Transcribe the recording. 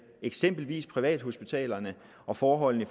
eksempel privathospitalerne og forholdene